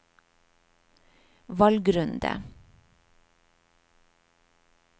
valgrunde